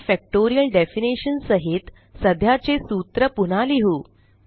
आणि factorial definition सहित सध्याचे सूत्र पुन्हा लिहु